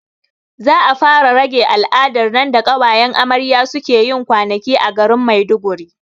Za a fara rage al'adar nan da ƙawayen amarya suke yin kwanaki a garin maiduguri